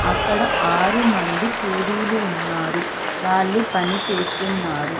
అక్కడ ఆరు మంది కూలీలు ఉన్నారు. వాళ్ళు పని చేస్తున్నారు.